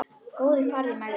Góði farðu í megrun.